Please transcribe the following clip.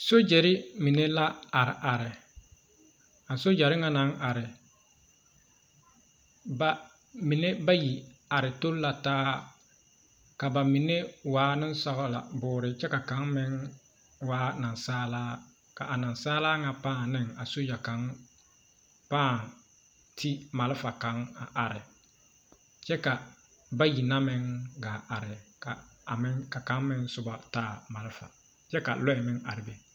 Sojare mine la a are are a sojare ŋa naŋ are ba mine bayi are tori la taa ka bamine waa nensɔglɔ boore kyɛ ka kaŋa meŋ waa nansaalaa ka nansaalaa ŋa pãã ne a soja kaŋa pãã ti malfa kaŋ are kyɛ ka bayi na meŋ gaa are ka kaŋa na meŋ soba a taa malfa kyɛ ka loɛ meŋ are be.